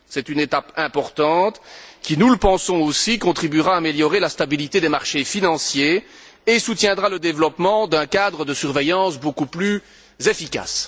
C'est une étape importante qui, nous le pensons aussi, contribuera à améliorer la stabilité des marchés financiers et soutiendra le développement d'un cadre de surveillance beaucoup plus efficace.